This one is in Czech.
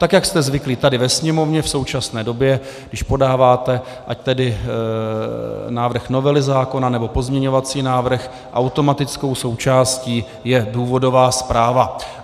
Tak jak jste zvyklí tady ve Sněmovně v současné době, když podáváte, ať tedy návrh novely zákona, nebo pozměňovací návrh, automatickou součástí je důvodová zpráva.